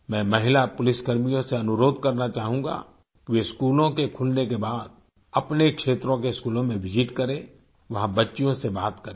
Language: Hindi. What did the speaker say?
मैं महिला पुलिसकर्मियों से अनुरोध करना चाहूंगा कि वे स्कूलों के खुलने के बाद अपने क्षेत्रों के स्कूलों में विसित करें वहां बच्चियों से बात करें